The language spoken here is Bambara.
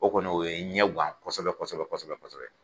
O kɔni o ye n ɲɛguwan kosɛbɛ kosɛbɛ kosɛ bɛsɛbɛ